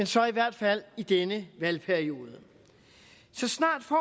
så i hvert fald i denne valgperiode så snart får